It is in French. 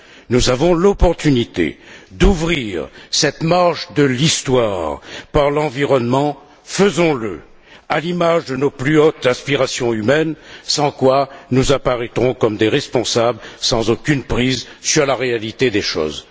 Nous avons l'opportunité d'ouvrir cette marche de l'histoire avec l'environnement. Faisons le à l'image de nos plus hautes inspirations humaines, sans quoi nous apparaîtrons comme des responsables n'ayant aucune prise sur la réalité des choses.